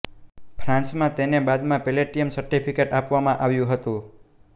ફ્રાન્સમાં તેને બાદમાં platinum certificate આપવામાં આવ્યું હતું